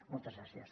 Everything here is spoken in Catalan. moltes gràcies